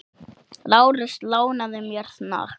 Lárus lánaði mér hnakk.